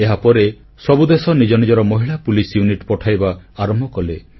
ଏହାପରେ ସବୁ ଦେଶ ନିଜ ନିଜ ମହିଳା ପୋଲିସ ୟୁନିଟ୍ ପଠାଇବା ଆରମ୍ଭ କଲେ